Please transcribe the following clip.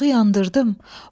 İşığı yandırdım.